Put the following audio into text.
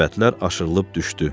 Səbətlər aşırılıb düşdü.